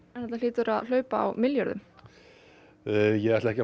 þetta hlýtur að hlaupa á milljörðum ég ætla ekki